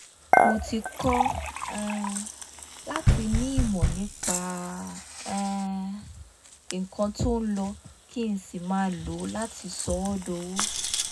mo ti kọ́ um láti ní ìmọ̀ nípa um nǹkan tó ń lọ kí n n sì máa lo láti sọ ọ́ dowó